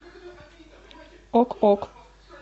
ок ок